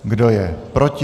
Kdo je proti?